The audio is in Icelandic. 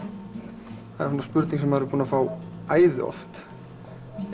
það er spurning sem maður er búinn að fá æði oft